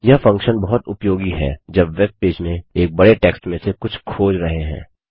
यह फंक्शन बहुत उपयोगी है जब वेबपेज में एक बड़े टेक्स्ट में से कुछ खोज रहे हैं